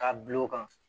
K'a bil'o kan